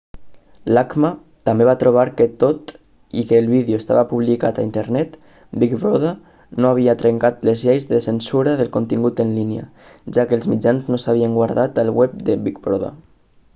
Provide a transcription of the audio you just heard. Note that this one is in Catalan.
l'acma també va trobar que tot i que el vídeo estava publicat a internet big brother no havia trencat les lleis de censura del contingut en línia ja que els mitjans no s'havien guardat al web de big brother